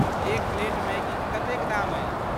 एक प्लेट मैगीक कतेक दाम अछि?